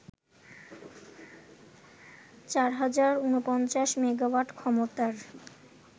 ৪০৪৯ megawatt ক্ষমতার